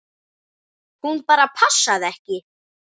Hún bara passaði ekki.